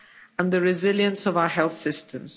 and the resilience of our health systems.